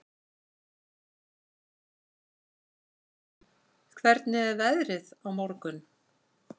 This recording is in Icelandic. Róslaug, hvernig er veðrið á morgun?